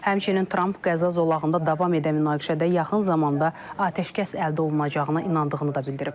Həmçinin Tramp Qəzza zolağında davam edən münaqişədə yaxın zamanda atəşkəs əldə olunacağına inandığını da bildirib.